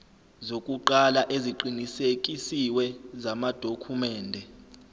zokuqala eziqinisekisiwe zamadokhumende